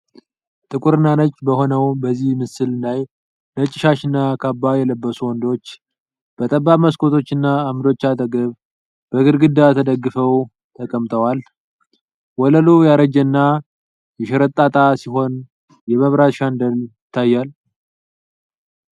ጥቁር እና ነጭ በሆነው በዚህ ምስል ላይ፣ ነጭ ሻሽና ካባ የለበሱ ወንዶች በጠባብ መስኮቶችና ዓምዶች አጠገብ በግድግዳ ተደግፈው ተቀምጠዋል። ወለሉ ያረጀና የሸራጣጣ ሲሆን የመብራት ሻንደል ይታያል።